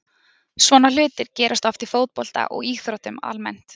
Svona hlutir gerast oft í fótbolta og íþróttum almennt.